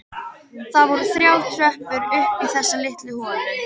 Það voru þrjár tröppur upp í þessa litlu holu.